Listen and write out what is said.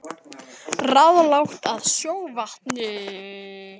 Ráðlagt að sjóða vatn